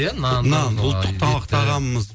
иә нанды нан ұлттық тамақ тағамымыз